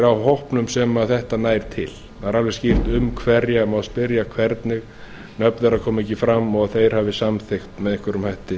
af hópnum sem þetta nær til það er alveg skýrt um hverja má spyrja hvernig nöfn þeirra koma ekki fram og þeir hafa samþykkt með einhverjum hætti